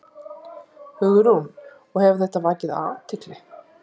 Hugrún: Og hefur þetta vakið athygli?